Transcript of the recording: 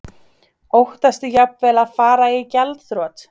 Óttastu jafnvel að fara í gjaldþrot?